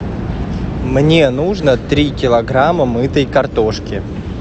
мне нужно три килограмма мытой картошки